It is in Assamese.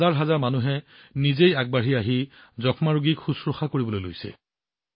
হাজাৰ হাজাৰ মানুহে নিজেই আগবাঢ়ি আহি যক্ষ্মা ৰোগীক দত্তক লৈছে